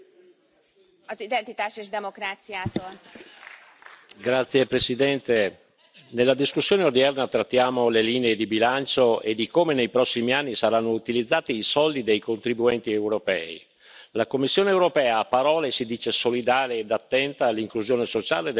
Signora Presidente, onorevoli colleghi, nella discussione odierna trattiamo le linee di bilancio e di come nei prossimi anni saranno utilizzati i soldi dei contribuenti europei. La Commissione europea, a parole, si dice solidale ed attenta all'inclusione sociale delle persone disabili.